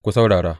Ku saurara!